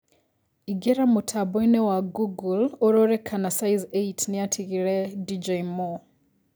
ĩngĩra mũtamboĩnĩ wa google ũrore kana size eight nĩatĩgĩre dj mo